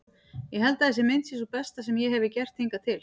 Ég held að þessi mynd sé sú besta sem ég hefi gert hingað til.